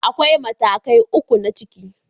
Akwai matakai uku na ciki.